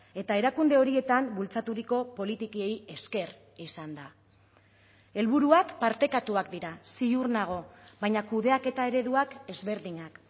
eta erakunde horietan bultzaturiko politikei esker izan da helburuak partekatuak dira ziur nago baina kudeaketa ereduak ezberdinak